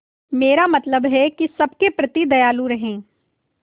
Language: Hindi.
मेरा मतलब है कि सबके प्रति दयालु रहें